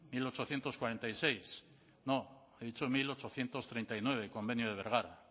mil ochocientos cuarenta y seis no he dicho mil ochocientos treinta y nueve el convenio de bergara